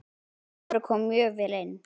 Kári kom mjög vel inn.